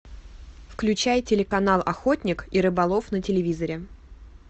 включай телеканал охотник и рыболов на телевизоре